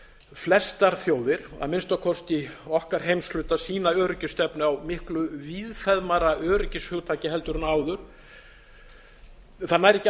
flestar þjóðir að minnsta kosti í okkar heimshluta sína öryggisstefnu á miklu víðfeðmara öryggishugtaki heldur en áður það